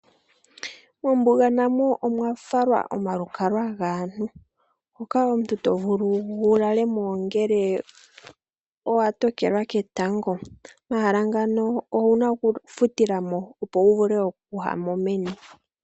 Mombuga namo omwafalwa omalukalwa gaantu moka omuntu tovulu wu lalemo ngele owatokelwa ketango. Omahala ngano owuna oku futilamo opo wuvule oku yamo meni.